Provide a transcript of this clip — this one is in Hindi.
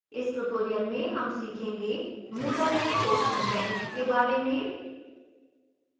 इस tutorial में हम सीखेंगे moodle में question bank के बारे में